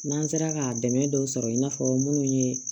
N'an sera ka dɛmɛ dɔw sɔrɔ i n'a fɔ minnu ye